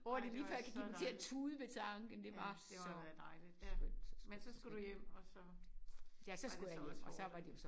Ja det var så dejligt. Ja det var da dejligt ja. Men så skulle du hjem og så var det så også hårdt